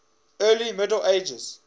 early middle ages